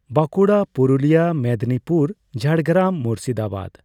Bankura, Purulia, Midnapore, Jhargram, Murshidabad.